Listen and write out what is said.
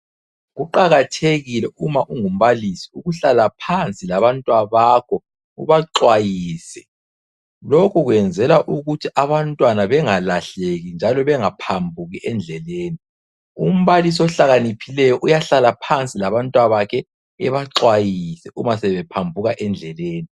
Kuqakathekile uma ungu mbalisi ukuhlala phansi laba twabakho ubaxhwayise. Lokhu kwenzelwa ukuthi abantwana bangalahleki njalo bangaphambuki endleleni. Umbalisi ohlakaniphileyo uyahlala phansi labanwabakhe abaxwayise uma sebe phambuka endleleni.